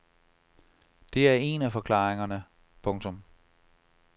Det er en af forklaringerne. punktum